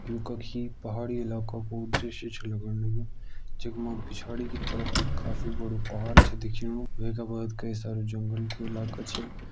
यू कखि पहाड़ी इलाका कु दृश्य छ लगण लग्युं जख मा पिछाड़ी की तरफ एक काफी बड़ु पहाड़ छा दिखेणु वै का बाद कई सारा जंगल कु इलाका छ।